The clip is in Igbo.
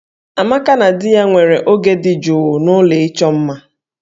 Amaka na di ya nwere oge dị jụụ n'ụlọ ịchọ mma